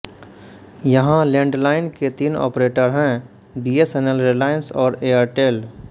यहाँ लैंडलाइन के तीन ऑपरेटर हैं बीएसएनएल रिलायंस और एयरटेल